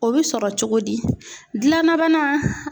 O bɛ sɔrɔ cogo di, dilanna